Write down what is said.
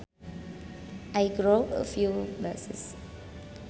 I grow a few bushes